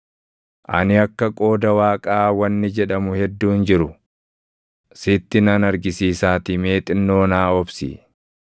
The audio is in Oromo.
“Ani akka qooda Waaqaa wanni jedhamu hedduun jiru sitti nan argisiisaatii mee xinnoo naa obsi.